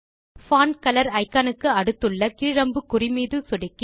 font colour icon க்கு அடுத்துள்ள கீழ் அம்புக்குறி மீது சொடுக்கி